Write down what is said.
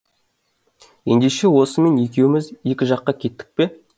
ендеше осымен екеуміз екі жаққа кеттік пе